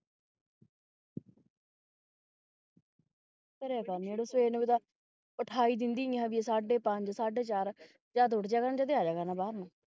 ਕਰਿਆ ਕਰ ਨੀ ਆੜੀਆਂ ਸਵੇਰ ਨੂੰ ਵੀ ਦਸ ਉਠਾ ਹੀ ਸਾਡੇ ਪੰਜ ਸਾਡੇ ਚਾਰ ਜਦ ਉਹ ਜਾਗਣਗੇ ਆ ਜਾਇਆ ਕਰਨਾ ਬਾਹਰ ਨੂੰ